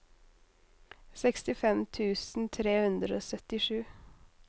sekstifem tusen tre hundre og syttisju